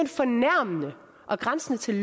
fornærmende og grænsende til